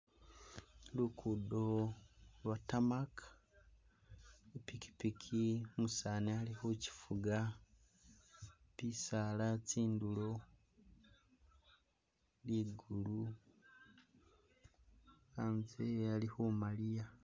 Lugudo lwa'tamaka ipikipiki umusani ali khukyifuga bisaala kyindulo, ligulu antse ali khumaliya